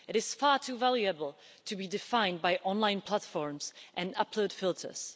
It is far too valuable to be defined by online platforms and upload filters.